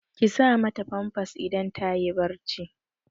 Ki sa ma ta famfas idan ta yi barci!